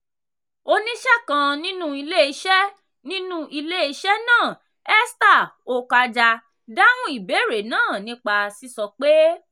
"oníṣẹ́ kan nínú iléeṣẹ́ nínú iléeṣẹ́ náà esther okaja dáhùn ìbéèrè náà nípa sísọ pé: